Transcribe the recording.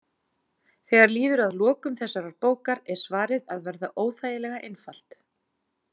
Þegar líður að lokum þessarar bókar er svarið að verða óþægilega einfalt.